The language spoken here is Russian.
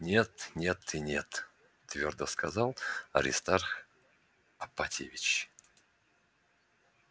нет нет и нет твёрдо сказал аристарх апатьевич